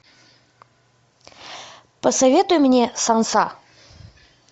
посоветуй мне санса